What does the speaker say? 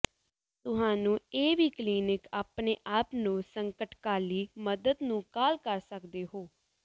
ਤੁਹਾਨੂੰ ਇਹ ਵੀ ਕਲੀਨਿਕ ਆਪਣੇ ਆਪ ਨੂੰ ਸੰਕਟਕਾਲੀ ਮਦਦ ਨੂੰ ਕਾਲ ਕਰ ਸਕਦੇ ਹੋ